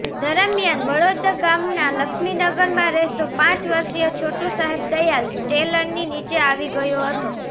દરમિયાન વડોદ ગામના લક્ષ્મીનગરમાં રહેતો પાંચ વર્ષીય છોટુ સાહેબદયાલ ટ્રેલરની નીચે આવી ગયો હતો